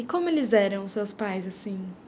como eles eram os seus pais, assim?